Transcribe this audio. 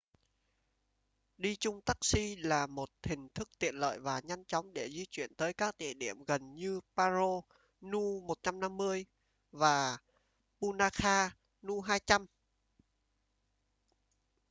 đi chung taxi là một hình thức tiện lợi và nhanh chóng để di chuyển tới các địa điểm gần như paro nu 150 và punakha nu 200